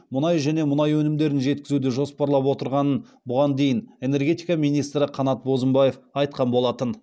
мұнай және мұнай өнімдерін жеткізуді жоспарлап отырғанын бұған дейін энергетика министрі қанат бозымбаев айтқан болатын